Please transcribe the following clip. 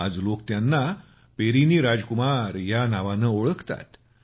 आज लोक त्यांना पेरिनी राजकुमार या नावाने ओळखतात